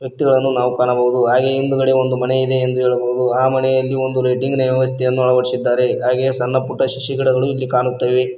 ವ್ಯಕ್ತಿಗಳನ್ನು ನಾವು ಕಾಣಬಹುದು ಹಾಗೆ ಹಿಂದುಗಡೆ ಒಂದು ಮನೆ ಇದೆ ಎಂದು ಹೇಳಬಹುದು ಆ ಮನೆಯಲ್ಲಿ ಒಂದು ಲೈಟಿಂಗ್ ನ ವ್ಯವಸ್ಥೆಯನ್ನು ಅಳವಡಿಸಿದ್ದಾರೆ ಹಾಗೆ ಸಣ್ಣ ಪುಟ್ಟ ಸಸಿ ಗಿಡಗಳು ಇಲ್ಲಿ ಕಾಣುತ್ತವೆ.